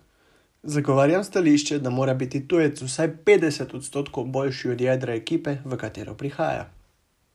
Zagovarjam stališče, da mora biti tujec vsaj petdeset odstotkov boljši od jedra ekipe, v katero prihaja.